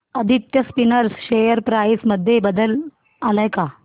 Aditya Spinners share price मध्ये बदल आलाय का